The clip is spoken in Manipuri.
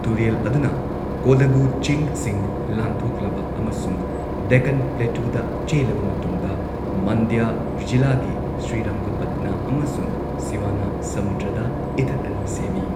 ꯇꯨꯔꯦꯜ ꯑꯗꯨꯅ ꯀꯣꯗꯥꯒꯨ ꯆꯤꯡꯁꯤꯡ ꯂꯥꯟꯊꯣꯛꯂꯕ ꯑꯃꯁꯨꯡ ꯗꯦꯛꯀꯥꯟ ꯄ꯭ꯂꯦꯇꯨꯗ ꯆꯦꯜꯂꯕ ꯃꯇꯨꯡꯗ, ꯃꯟꯗ꯭ꯌ ꯖꯤꯂꯥꯒꯤ ꯁ꯭ꯔꯤꯔꯪꯒꯄꯠꯅꯥ ꯑꯃꯁꯨꯡ ꯁꯤꯋꯥꯅꯥꯁꯃꯨꯗ꯭ꯔꯗ ꯏꯊꯠ ꯑꯅꯤ ꯁꯦꯝꯃꯤ꯫